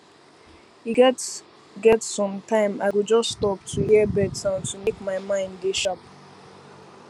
e get get sometime i go just stop to hear bird sound to make my mind dey sharp